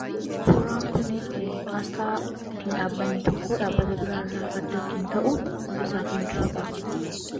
Suuraan kuni asxaa ittiib dhaabbatni tokko dhaabbata biraa irraa adda kan ta'u mul'isaa kan jirudha.